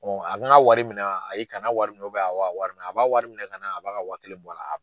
n ka wari minɛ wa ayi kana a wari minɛ awɔ a wari minɛ a b'a wari minɛ kana a b'a ka wa kelen bɔ a la.